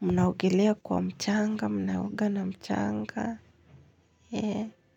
Mnaogelea kwa mchanga mnaoga na mchanga.